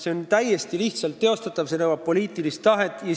See on täiesti teostatav, see nõuab poliitilist tahet.